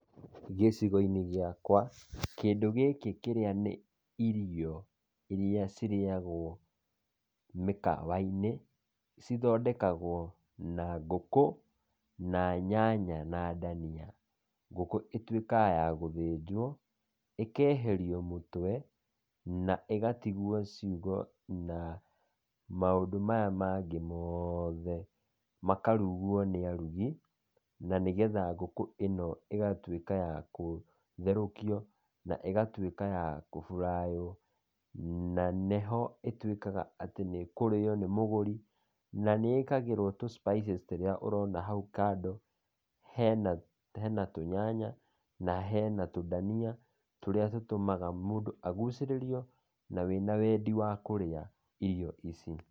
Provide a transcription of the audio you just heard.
Gīcīgo-inī gīakwa kīndū gīkī kīrīa nī īrīo, īrīa cīreagwa mīkawa-inī cīthondekagwo na ngūkū na nyanya na dania. Ngūkū itūikaga ya gūthenjwo, īkeherīo mūtwe na īgatīgwo cīūngo na maūndū maya mange moothe. Makarūgwo nī arūngī na nīgetha ngūkū īno īgatwīka ya kūtherokīo na īgatweka ya kūbūrayo na nīho ītuīkaga atī nī kūrīyo nī mūgūrī. Na nī īkīragwo tū spices tūrīa ūrona hau kando. Hena tūnyanya na hena tūdania tūria tūtūmaga mūndū agucererīo na wenawedī wa kūrīa īrīo īcī.